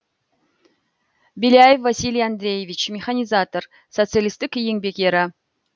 беляев василий андреевич механизатор социалистік еңбек ері